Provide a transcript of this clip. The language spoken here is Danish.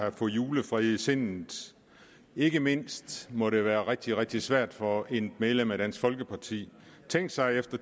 at få julefred i sindet ikke mindst må det være rigtig rigtig svært for et medlem af dansk folkeparti tænk sig i